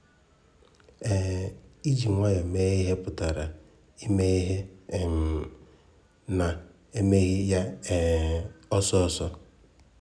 um Iji nwayọ mee ihe pụtara ime ihe um n'emeghị ya um ọsọ ọsọ.